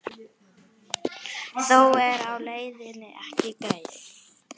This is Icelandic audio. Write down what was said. Þó er leiðin ekki greið.